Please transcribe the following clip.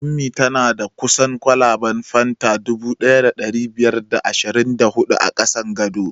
Ummi tana da kusan kwalaben fanta dubu ɗaya da ɗari biyar da ashirin da hudu a ƙasan gado